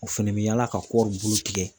O fɛnɛ bi yaala ka kɔɔriw bulu tigɛ.